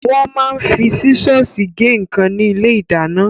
Wọ́n máa ń fi sísọ́ọ̀sì gé nǹkan ní ilé-ìdáná.